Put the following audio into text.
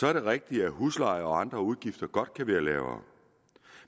er det rigtigt at husleje og andre udgifter godt kan være lavere